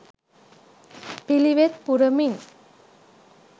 පිළිවෙත් පුරමින්